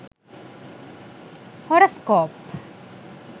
horescope